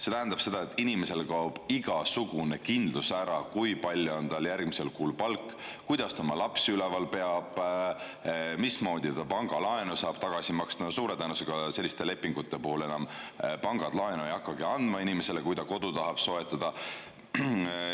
See tähendab, et inimesel kaob ära igasugune kindlus, kui palju on tal järgmisel kuul palk, kuidas ta oma lapsi üleval peab, mismoodi ta pangalaenu saab tagasi maksta – no suure tõenäosusega selliste lepingute puhul pangad ei hakkagi enam inimesele laenu andma, kui ta kodu tahab soetada.